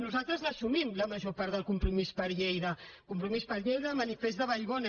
nosaltres l’assumim la major part del compromís per lleida compromís per lleida manifest de vallbona